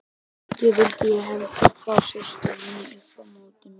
Ekki vildi ég heldur fá systur mínar upp á móti mér.